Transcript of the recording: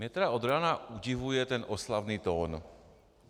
Mě tedy od rána udivuje ten oslavný tón.